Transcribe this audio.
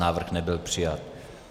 Návrh nebyl přijat.